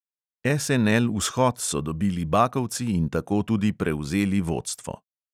SNL-vzhod so dobili bakovci in tako tudi prevzeli vodstvo.